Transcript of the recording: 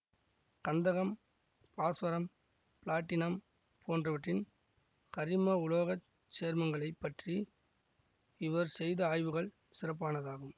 கந்தகம் பாஸ்வரம் பிளாட்டினம் போன்றவற்றின் கரிம உலோகச் சேர்மங்களைப் பற்றி இவர் செய்த ஆய்வுகள் சிறப்பானதாகும்